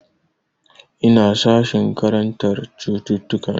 Ina sashin karantar cututtuka ne.